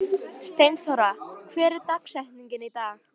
Steinþóra, hver er dagsetningin í dag?